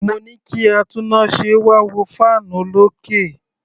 Mo ní kí atúnnáse wá wo fan olókè.